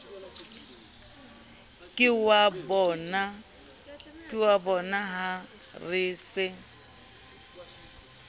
ke wa bonaha re se